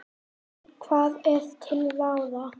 Og hvað er til ráða?